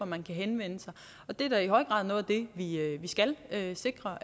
man kan henvende sig og det er da i høj grad noget af det vi skal sikre